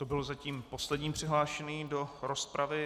To byl zatím poslední přihlášený do rozpravy.